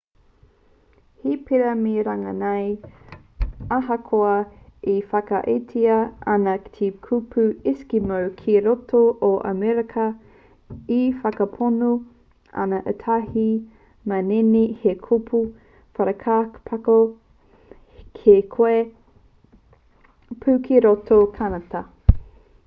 he pērā me runga nei ahakoa e whakaaetia ana te kupu eskimo ki roto o amerika e whakapono ana ētahi manene he kupu whakaparahako kē koia pū ki roto o kānata